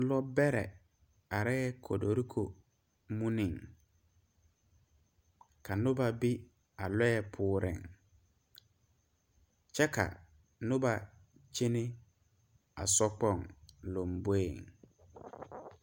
Lɔ bɛre are kotoriko muneŋ ,ka noba be a lɔɛ poɔre kyɛ ka noba kyɛne a so kpoŋ lanboɛ.